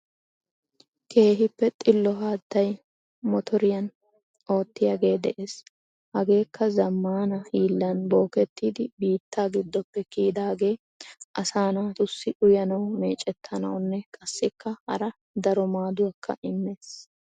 Keehippe xillo haattay mottoriyaan oottiyagee de'ees. Hageekka zaammanaa hillan bokkettidi biittaa giddoppe kiyidaagee asaa naatusi uyanaw meeccettanawunne qassikka haraa daro maadduwaakka immees